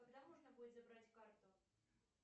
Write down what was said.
когда можно будет забрать карту